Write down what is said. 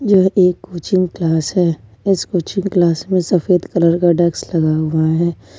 यह एक coaching class है इस कोचिंग क्लास में सफेद कलर का डेस्क लगा हुआ है।